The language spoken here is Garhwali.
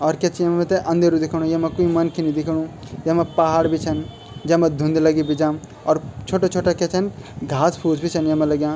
और क्या च मैतै अंधेरु दिखेंणु येमा कोई मनखी नि देखेणु यमा पहाड़ बि छन जेमा धुंध लगी बीजाम और छोटा-छोटा क्या छन घास-फूस बि छन येमा लग्यां।